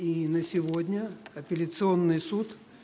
и на сегодня сегодня апелляционный суд